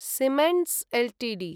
Siemens Ltd